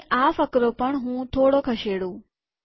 અને આ ફકરો પણ હું થોડો ખસેડું